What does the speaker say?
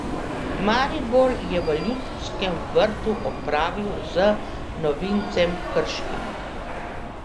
Maribor je v Ljudskem vrtu opravil z novincem Krškim.